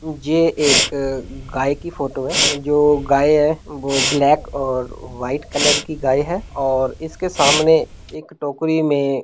जे एक गाय की फोटो है जो गाय है वह ब्लैक और व्हाइट कलर की गाय है और इसके सामने एक टोकरी में --